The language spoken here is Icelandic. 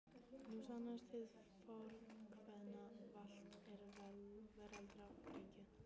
Nú sannast hið fornkveðna: Valt er veraldar gengið.